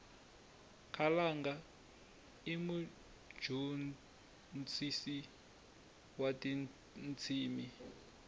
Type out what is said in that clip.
khalanga imujontshisisi watintshimi